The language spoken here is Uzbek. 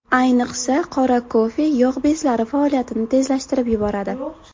Ayniqsa, qora kofe yog‘ bezlari faoliyatini tezlashtirib yuboradi.